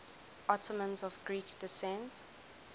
ottomans of greek descent